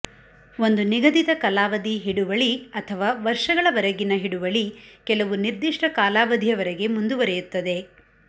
ಒಂದು ನಿಗಧಿತ ಕಲಾವಧಿ ಹಿಡುವಳಿ ಅಥವಾ ವರ್ಷಗಳ ವರೆಗಿನ ಹಿಡುವಳಿ ಕೆಲವು ನಿರ್ಧಿಷ್ಟ ಕಾಲಾವಧಿಯವರಗೆ ಮುಂದುವರೆಯುತ್ತದೆ